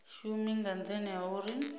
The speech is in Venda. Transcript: shumi nga nthani ha uri